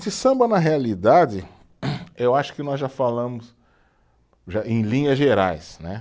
De samba, na realidade, eu acho que nós já falamos, já, em linhas gerais, né.